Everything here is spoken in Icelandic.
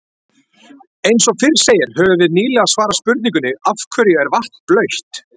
Eins og fyrr segir höfum við nýlega svarað spurningunni Af hverju er vatn blautt?